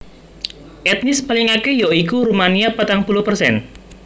Etnis paling akèh ya iku Rumania patang puluh persen